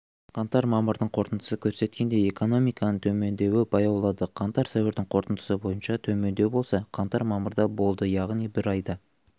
қаңтар-мамырдың қорытындысы көрсеткендей экономиканың төмендеуі баяулады қаңтар-сәуірдің қорытындысы бойынша төмендеу болса қаңтар-мамырда болды яғни бір айда